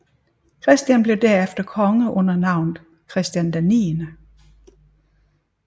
Christian blev derefter konge under navnet Christian 9